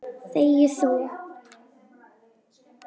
Þegi þú!